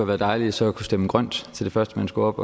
været dejligt så at kunne stemme grønt til det første man skulle op